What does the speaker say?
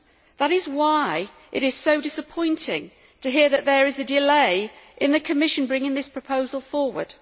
That is why it is so disappointing to hear that there is a delay in the Commission bringing this proposal forward.